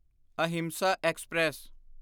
Ahinsa express